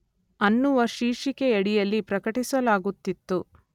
ಅನ್ನುವ ಶೀರ್ಷಿಕೆಯಡಿಯಲ್ಲಿ ಪ್ರಕಟಿಸಲಾಗುತ್ತಿತ್ತು.